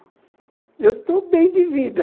Eu estou bem de vida.